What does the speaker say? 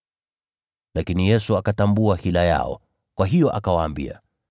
Lakini Yesu akatambua hila yao, kwa hiyo akawaambia,